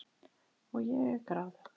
Og ég er gráðug.